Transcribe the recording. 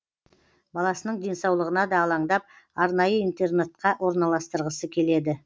баласының денсаулығына да алаңдап арнайы интернатқа орналастырғысы келеді